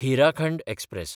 Hirakhand express